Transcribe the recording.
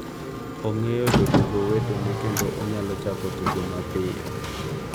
Ong’eyo jotugo wetene kendo onyalo chako tugo mapiyo.